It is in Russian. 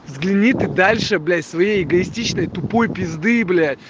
взгляни ты дальше блять своей эгоистичной тупой пизды блять